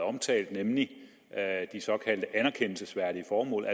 omtalt nemlig de såkaldte anerkendelsesværdige formål og